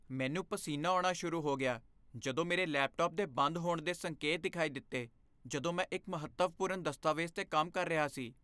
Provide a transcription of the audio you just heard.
ਮੈਨੂੰ ਪਸੀਨਾ ਆਉਣਾ ਸ਼ੁਰੂ ਹੋ ਗਿਆ ਜਦੋਂ ਮੇਰੇ ਲੈਪਟਾਪ ਦੇ ਬੰਦ ਹੋਣ ਦੇ ਸੰਕੇਤ ਦਿਖਾਈ ਦਿੱਤੇ ਜਦੋਂ ਮੈਂ ਇੱਕ ਮਹੱਤਵਪੂਰਨ ਦਸਤਾਵੇਜ਼ 'ਤੇ ਕੰਮ ਕਰ ਰਿਹਾ ਸੀ।